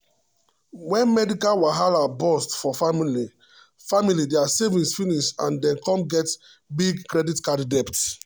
when medical wahala burst for family family their saving finish and dem come get big credit card debt.